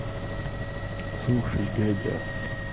слушай дядя